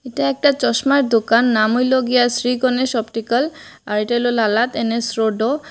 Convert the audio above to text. এটা একটা চশমার দোকান নাম হইল গিয়া শ্রী গণেশ অপটিক্যাল আর এটা হইল লালা এন_এস রোড ও--